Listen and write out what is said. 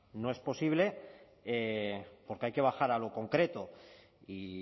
no es posible porque hay que bajar a lo concreto y